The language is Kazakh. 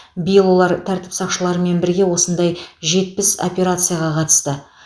биыл олар тәртіп сақшыларымен бірге осындай жетпіс операцияға қатысты